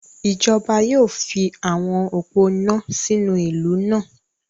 Ijọba yóò fi awọn opó iná sínú ìlú náà